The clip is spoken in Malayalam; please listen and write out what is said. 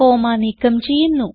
കോമ്മ നീക്കം ചെയ്യുന്നു